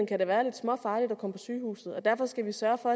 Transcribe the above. kan det være lidt småfarligt at komme på sygehuset og derfor skal vi sørge for